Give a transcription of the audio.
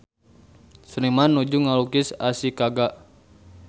Seniman nuju ngalukis Ashikaga